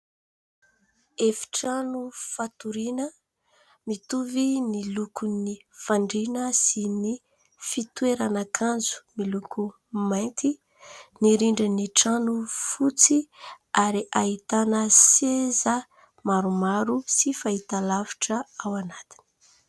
Efitrano fatoriana, mitovy ny lokon'ny fandriana sy ny fitoeran'akanjo miloko mainty. Ny rindrin'ny trano fotsy ary ahitana seza maromaro sy fahitalavitra ao anatiny.